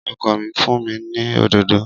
Ọkọ mi fún mi ní òdòdó